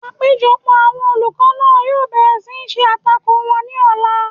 Àpéjọpọ̀ àwọn olùkọ́ náà yóò bẹ̀rẹ̀ ṣíṣe àtakò wọn ní ọ̀la